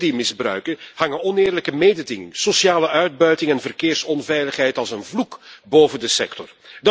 Door die misbruiken hangen oneerlijke mededinging, sociale uitbuiting en verkeersonveiligheid als een vloek boven de sector.